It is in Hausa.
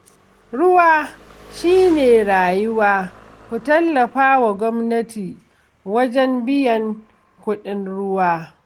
Ruwa shi ne rayuwa, ku tallafa wa gwamnati wajen biyan kuɗin ruwa